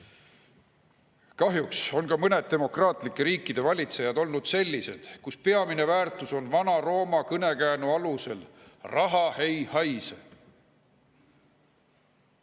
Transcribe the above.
Kahjuks on ka mõned demokraatlike riikide valitsejad olnud sellised, kelle peamine väärtus on, nagu Vana-Rooma kõnekäänd ütleb: raha ei haise.